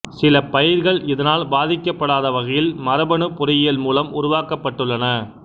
சில பயிர்கள் இதனால் பாதிக்கப்படாத வகையில் மரபணுப் பொறியியல் மூலம் உருவாக்கப் பட்டுள்ளன